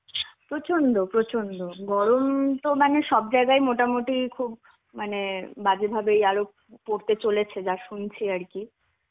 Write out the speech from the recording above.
প্রচন্ড প্রচন্ড. গরম তো মানে সব জায়গায় ই মোটামুটি খুব মানে বাজে ভাবেই আরও পড়তে চলেছে যা শুনছি আর কি.